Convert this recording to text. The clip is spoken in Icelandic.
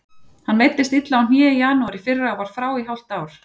Hann meiddist illa á hné í janúar í fyrra og var frá í hálft ár.